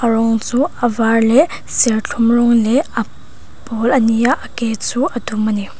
a rawng chu avar leh serthlum rawng leh a pawl a ni a a ke chu a dum a ni.